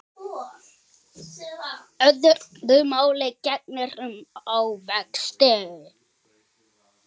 Öðru máli gegnir um ávexti.